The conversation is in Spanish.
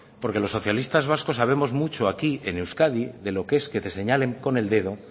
porque los socialistas vascos sabemos mucho aquí en euskadi de lo que es que te señalen con el dedo